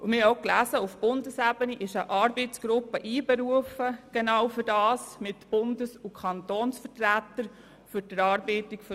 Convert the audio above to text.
Wir haben auch gelesen, dass für die Erarbeitung eines Konzepts auf Bundesebene eine Arbeitsgruppe mit Bundes- und Kantonsvertretern einberufen ist.